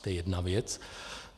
To je jedna věc.